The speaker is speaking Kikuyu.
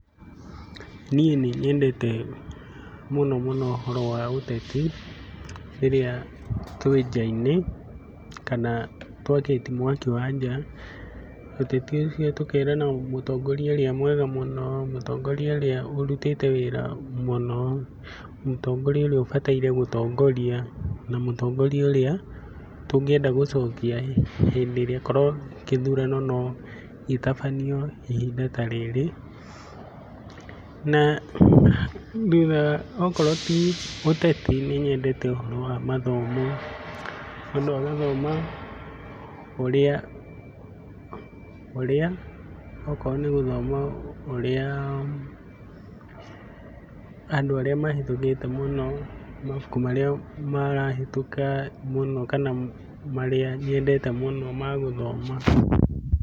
Niĩ nĩnyendete mũno mũno ũhoro wa ũteti rĩrĩa twĩ nja-inĩ kana twakĩtie mwaki wa nja, ũteti ũcio tũkerana mũtongoria ũrĩa mwega mũno, mũtongoria ũrĩa ũrutĩte wĩra mũno, mũtongoria ũrĩa ũbataire gũtongoria na mũtongoria ũrĩa tũngĩenda gũcokia hĩndĩ ĩrĩa korwo gĩthurano no gĩtabanio ihinda ta rĩrĩ. Na okorwo ti ũteti, nĩnyendete ũhoro wa mathomo, mũndũ agathoma ũrĩa, ũrĩa ũkorwo nĩgũthoma ũrĩa andũ arĩa mahetũkĩte mũno, mabuku marĩa marahetũka mũno kana marĩa nyendete mũno ma gũthoma.